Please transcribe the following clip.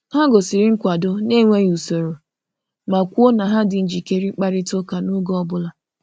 Ha gosiri nkwado n’enweghị usoro ma kwuo na ha dị njikere ịkparịta ụka n’oge ọ bụla.